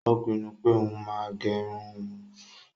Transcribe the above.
Ó pinnu pé òún máa gé irun òún